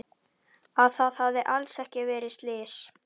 Að það hafi alls ekki verið slys.